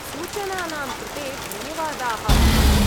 सूचनानां कृते धन्यवादाः, भोः।